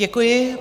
Děkuji.